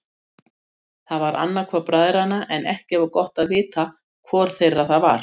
Það var annar hvor bræðranna en ekki var gott að vita hvor þeirra það var.